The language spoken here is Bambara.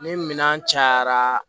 Ni minɛn cayara